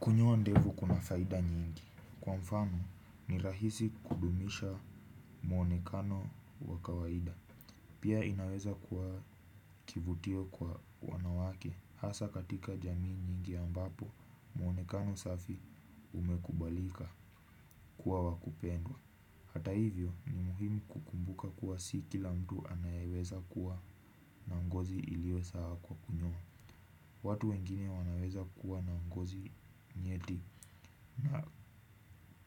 Kunyoa ndevu kuna faida nyingi. Kwa mfano ni rahisi kudumisha mwonekano wa kawaida. Pia inaweza kwa kivutio kwa wanawake hasa katika jamii nyingi ambapo mwonekano safi umekubalika kuwa wa kupendwa. Hata hivyo ni muhimu kukumbuka kuwa si kila mtu anayeweza kuwa na ngozi iliyosawa kwa kunyoa. Watu wengine wanaweza kuwa na ngozi nyeti na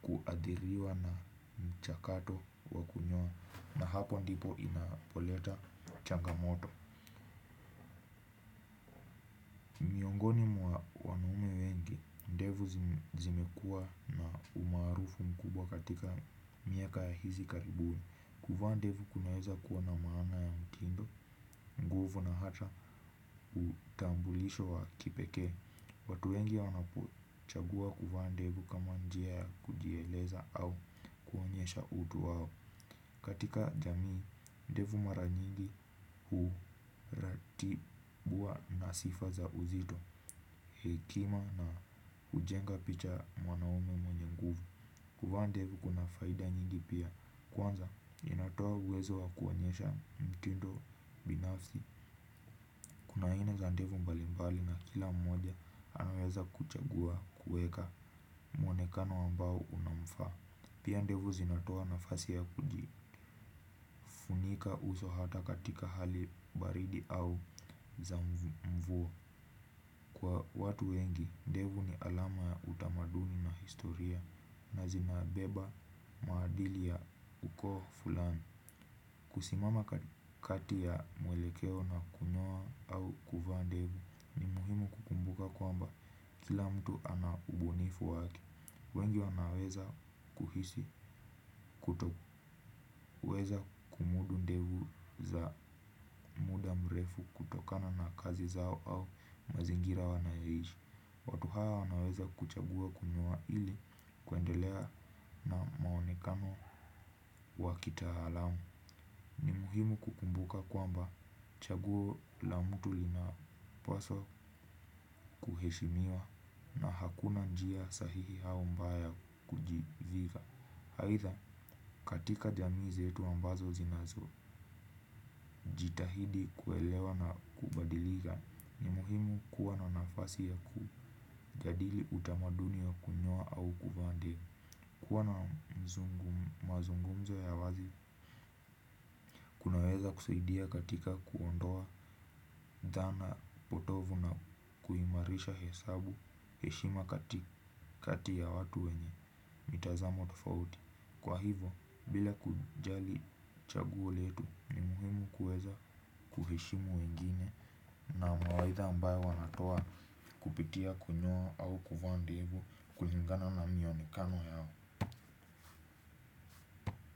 kuadhiriwa na mchakato wa kunyoa na hapo ndipo inapoleta changamoto. Miongoni mwa wanaume wengi, ndevu zimekua umaarufu mkubwa katika miaka hizi karibuni. Kuvaa ndevu kunaweza kuwa na maana ya mtindo, nguvu na hata utambulisho wa kipekee. Watu wengi wanapochagua kuvaa ndevu kama njia ya kujieleza au kuonyesha utu au katika jamii, ndevu mara nyingi huratibuwa na sifa za uzito hekima na hujenga picha mwanaume mwenye nguvu. Kuvaa ndevu kuna faida nyingi pia, kwanza inatoa uwezo wa kuonyesha mtindo binafsi. Kuna aina za ndevu mbalimbali na kila mmoja anaweza kuchagua kuweka mwonekano ambao unamfaa. Pia ndevu zinatoa nafasi ya kujifunika uso hata katika hali baridi au za mvua. Kwa watu wengi, ndevu ni alama ya utamaduni na historia. Na zinabeba maadili ya ukoo fulani. Kusimama kati ya mwelekeo na kunyoa au kuvaa ndevu. Muhimu kukumbuka kwamba kila mtu anaubunifu wake. Wengi wanaweza kuhisi kutoweza kumudu ndevu za muda mrefu kutokana na kazi zao au mazingira wanayoishi. Watu hawa wanaweza kuchagua kunyoa ili kuendelea na maonekano wa kitaalamu. Ni muhimu kukumbuka kwamba chaguo la mtu lina paswa kuheshimiwa na hakuna njia sahihi au mbaya kujiviga aitha katika jamii zetu ambazo zinazo jitahidi kuelewa na kubadilika ni muhimu kuwa na nafasi ya ku jadili utamaduni wa kunyoa au kuvaa ndevu kuwa na mazungumzo ya wazi kunaweza kusaidia katika kuondoa dhana potovu na kuimarisha hesabu heshima kati ya watu wenye mitazamo tofauti kwa hivyo bila kujali chaguo letu ni muhimu kuweza kuheshimu wengine na mawaitha ambayo wanatoa kupitia kunyoa au kuvaa ndevu kulingana na mionekano yao.